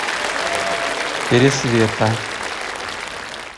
пересвета